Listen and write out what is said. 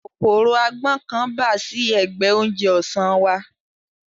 Kòkòrò agbọ́n kan bà sí ẹ̀gbẹ oúnjẹ ọ̀sán wa